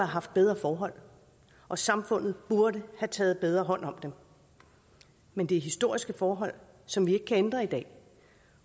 haft bedre forhold og samfundet burde have taget bedre hånd om dem men det er historiske forhold som vi ikke kan ændre i dag